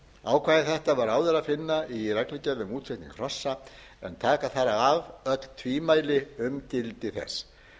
ákvæði þetta var áður að finna í reglugerð um útflutning hrossa en taka þarf af öll tvímæli um gildi þess